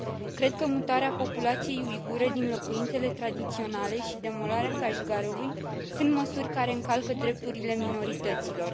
Cred că mutarea populației uigure din locuințele tradiționale și demolarea Kashgarului sunt măsuri care încalcă drepturile minorităților.